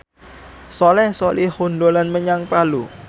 Soleh Solihun dolan menyang Palu